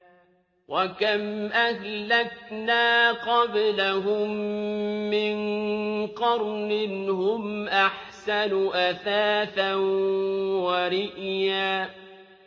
وَكَمْ أَهْلَكْنَا قَبْلَهُم مِّن قَرْنٍ هُمْ أَحْسَنُ أَثَاثًا وَرِئْيًا